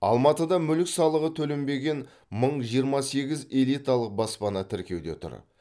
алматыда мүлік салығы төленбеген мың жиырма сегіз элиталық баспана тіркеуде тұр